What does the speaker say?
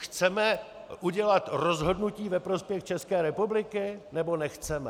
Chceme udělat rozhodnutí ve prospěch České republiky, nebo nechceme?